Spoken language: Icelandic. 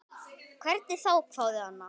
Hvernig þá, hváði Anna.